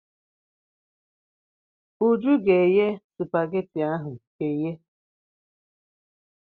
Uju ga-eye spageti ahụ eye.